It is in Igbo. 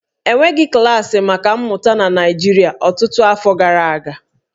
E nweghị klaasị maka mmụta na Naịjirịa ọtụtụ iri afọ gara aga